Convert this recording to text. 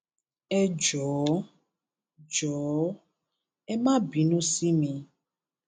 ẹ jọọ jọọ ẹ má bínú sí mi